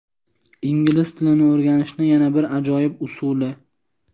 Ingliz tilini o‘rganishni yana bir ajoyib usuli.